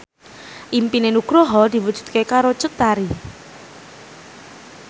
impine Nugroho diwujudke karo Cut Tari